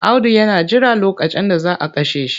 Audu yana jiran lokacin da za a kashe shi.